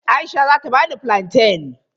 Aisha zata bani fulanten.